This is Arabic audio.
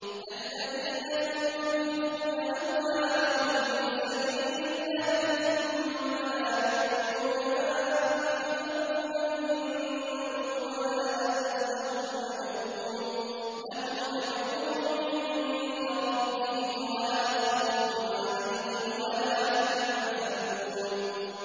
الَّذِينَ يُنفِقُونَ أَمْوَالَهُمْ فِي سَبِيلِ اللَّهِ ثُمَّ لَا يُتْبِعُونَ مَا أَنفَقُوا مَنًّا وَلَا أَذًى ۙ لَّهُمْ أَجْرُهُمْ عِندَ رَبِّهِمْ وَلَا خَوْفٌ عَلَيْهِمْ وَلَا هُمْ يَحْزَنُونَ